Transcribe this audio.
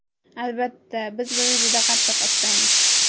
Albatta, biz buni juda qattiq istaymiz.